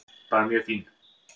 Bara mjög fín.